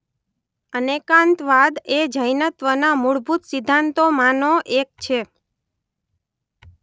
અનેકાંતવાદ એ જૈનત્વના મૂળભૂત સિદ્ધાંતોમાં નો એક છે.